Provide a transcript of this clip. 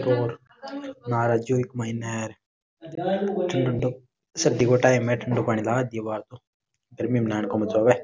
और मार्च जो एक महीना है सर्दी का टाइम है को गर्मी में नहान को मजो आव।